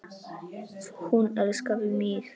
Hún elskaði mig.